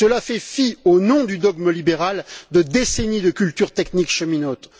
Cela fait fi, au nom du dogme libéral, de décennies de culture technique cheminote.